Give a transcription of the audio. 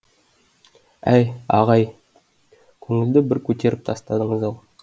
әй аға ай көңілді бір көтеріп тастадыңыз ау